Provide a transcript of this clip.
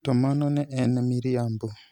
To mano ne en miriambo!